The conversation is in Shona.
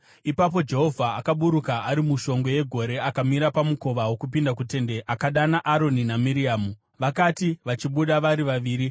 Ipapo Jehovha akaburuka ari mushongwe yegore; akamira pamukova wokupinda kuTende akadana Aroni naMiriamu. Vakati vachibuda vari vaviri,